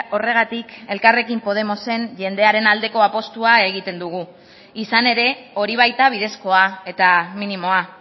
horregatik elkarrekin podemosen jendearen aldeko apustua egiten dugu izan ere hori baita bidezkoa eta minimoa